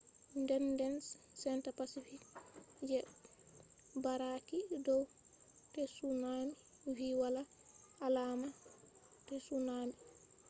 denden senta pacific je barraaki dow tsunami vi wala alaama tsunaami